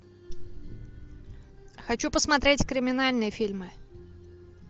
хочу посмотреть криминальные фильмы